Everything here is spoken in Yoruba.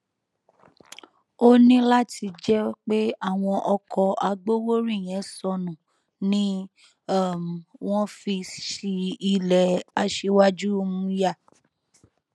ó ní láti jẹ pé àwọn ọkọ agbowórin yẹn sọnù ni um wọn fi ṣí ilẹ aṣíwájú um yá